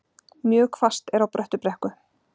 Mjög hvasst er á Bröttubrekku